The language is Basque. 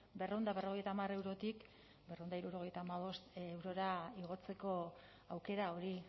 berrehun eta berrogeita hamar eurotik berrehun eta hirurogeita hamabost eurora igotzeko aukera hori